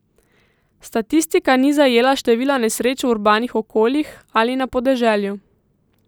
Statistika ni zajela števila nesreč v urbanih okoljih ali na podeželju.